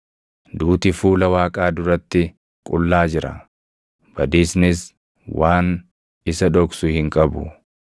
Duuti fuula Waaqaa duratti qullaa jira; badiisnis waan isa dhoksu hin qabu.